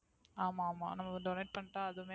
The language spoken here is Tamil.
ஆமா ஆமா நமக்கு Donate பண்ணிட்டா அதுவுமே